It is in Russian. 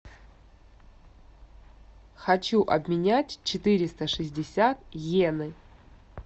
хочу обменять четыреста шестьдесят йены